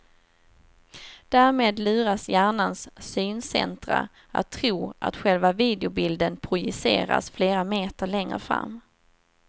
Därmed luras hjärnans syncentra att tro att själva videobilden projiceras flera meter längre fram.